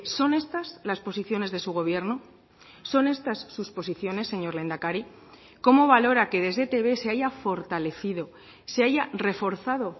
son estas las posiciones de su gobierno son estas sus posiciones señor lehendakari cómo valora que desde etb se haya fortalecido se haya reforzado